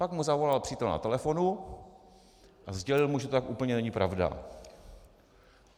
Pak mu zavolal přítel na telefonu a sdělil mu, že to tak úplně není pravda.